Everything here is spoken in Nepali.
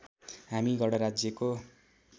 हामी गणराज्यको